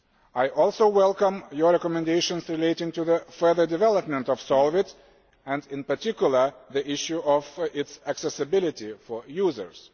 I also welcome your recommendations relating to the further development of SOLVIT and, in particular, the issue of its accessibility for users.